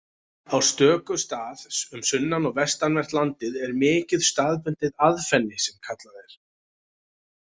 Á stöku stað um sunnan- og vestanvert landið er mikið staðbundið aðfenni sem kallað er.